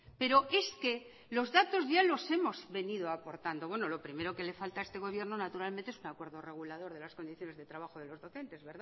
pero es que los datos ya los hemos venido aportando bueno lo primero que le falta a este gobierno naturalmente es un acuerdo regulador de las condiciones de trabajo de los docentes